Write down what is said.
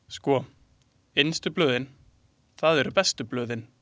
Sko, innstu blöðin, það eru bestu blöðin.